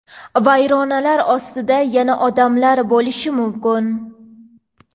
vayronalar ostida yana odamlar bo‘lishi mumkin.